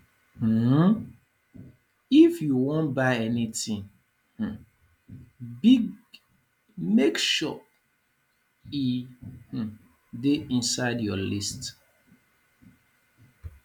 um if you wan buy anytin um big make sure e um dey inside your list